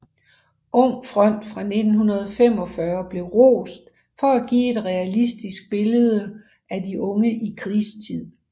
Ung front fra 1945 blev rost for at give et realistisk billede af de unge i krigstid